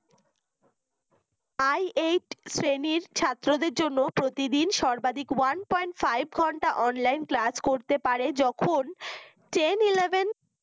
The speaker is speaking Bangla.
i eight শ্রেণির ছাত্রদের জন্য প্রতিদিন সর্বাধিক one point five ঘন্টা online class করতে পাড়ে যখন ten eleven